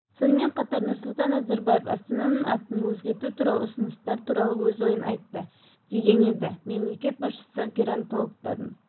сонымен қатар нұрсұлтан назарбаев астананың атын өзгерту туралы ұсыныстар туралы өз ойын айтты деген едімемлекет басшысы геронтологтардың